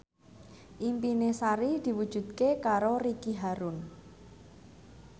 impine Sari diwujudke karo Ricky Harun